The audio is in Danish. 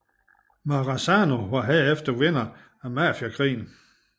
Maranzano var herefter vinderen af mafiakrigen